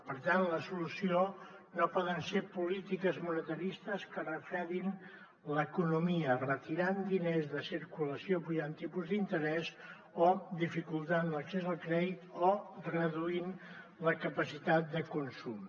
per tant la solució no poden ser polítiques monetaristes que refredin l’economia retirant diners de circulació apujant tipus d’interès o dificultant l’accés al crèdit o reduint la capacitat de consum